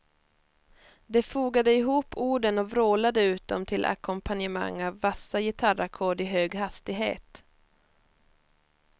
De fogade ihop orden och vrålade ut dem till ackompanjemang av vassa gitarrackord i hög hastighet.